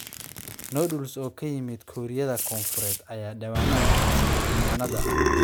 Noodles oo ka yimid Kuuriyada Koonfureed ayaa dhawaanahan qabsaday cinwaannada,